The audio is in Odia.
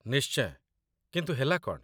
ନିଶ୍ଚୟ, କିନ୍ତୁ ହେଲା କ'ଣ ?